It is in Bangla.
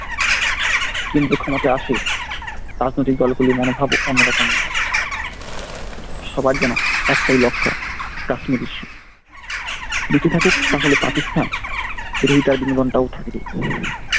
কেন্দ্রীয় ক্ষমতায় আসে রাজনৈতিক দলগুলোর মনোভাব অন্যরকম সবার যেন একটাই লক্ষ্য কাশ্মীর issue বেঁচে থাকুক তাহলে পাকিস্তান বিরোধিতার বিনোদনটা ও থাকবে।